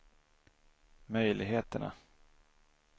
möjligheterna